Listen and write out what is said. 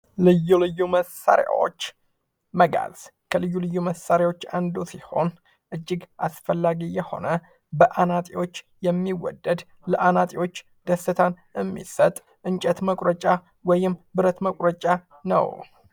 ልዩ ልዩ መሳሪያዎች ። መጋዝ ከልዩ ልዩ መሳሪዎች አንዱ ሲሆን እጅግ አስፈላጊ የሆነ በአናፂዎች የሚወደድ ለአናፂዎች ደስታን እሚሰጥ እንጨት መቁረጫ ወይም ብረት መቁረጫ ነው ።